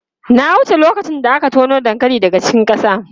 Na wuce lokacin da aka tono dankali daga cikin ƙasa.